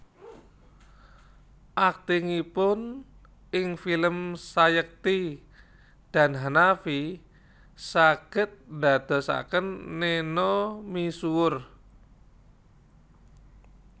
Aktingipun ing film Sayekti dan Hanafi saged dadosaken Neno misuwur